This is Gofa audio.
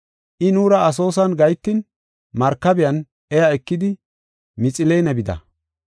I nuura Asoosan gahetin markabiyan iya ekidi Mixiline bida.